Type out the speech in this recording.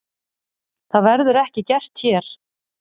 Það verður ekki gert hér.